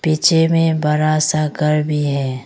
पीछे मे बड़ा सा घर भी है।